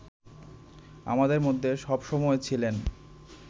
আমাদের মধ্যে সবসময় ছিলেন